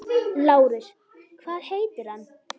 LÁRUS: Hvað heitir hann?